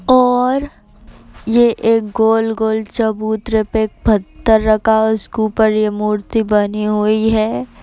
और ये एक गोल-गोल चबूतरे पे एक पत्थर रखा हुआ है। उसके ऊपर ये मूर्ति बनी हुई है।